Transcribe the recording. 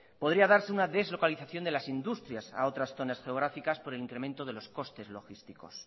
podría darse una deslocalización de las industrias a otras zonas geográficas por el incremento de los costes logísticos